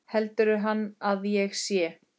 Heldur hann að ég sé.